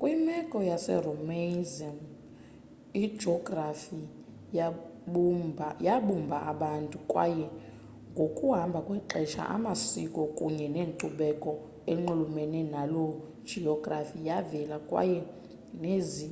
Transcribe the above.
kwimeko yeromaism ijografi yabumba abantu kwaye ngokuhamba kwexesha amasiko kunye nenkcubeko enxulumene naloo geografi yavela kwaye nezi